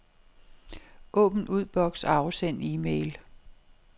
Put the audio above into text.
Åbn udboks og afsend e-mail.